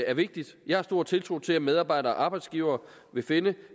er vigtigt jeg har stor tiltro til at medarbejdere og arbejdsgivere vil finde